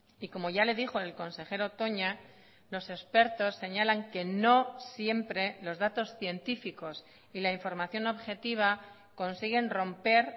y como ya le dijo el consejero toña los expertos señalan que no siempre los datos científicos y la información objetiva consiguen romper